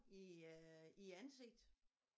I øh i æ ansigt